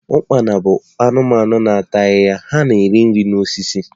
Ukpana bụ anụmanụ na ata ahịhịa, ha na-eri nri na osisi